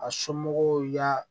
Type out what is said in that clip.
A somɔgɔw y'a